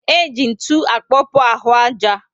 E ji ntụ akpokpu ahụ aja